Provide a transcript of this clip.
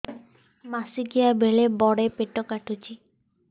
ମାସିକିଆ ବେଳେ ବଡେ ପେଟ କାଟୁଚି